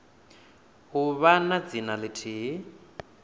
u vha na dzina lithihi